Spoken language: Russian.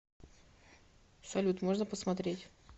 салют можно посмотреть